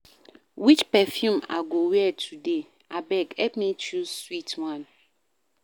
Which perfume I go wear today? Abeg help me choose sweet one